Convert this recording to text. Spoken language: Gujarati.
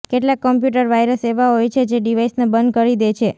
કેટલાક કોમ્પ્યૂટર વાયરસ એવા હોય છે જે ડિવાઇસને બંધ કરી દે છે